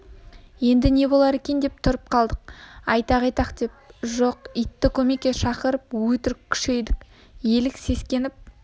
енді не болар екен деп тұрып қалдық айтақ-айтақ деп жоқ итті көмекке шақырып өтірік күшейдік елік сескеніп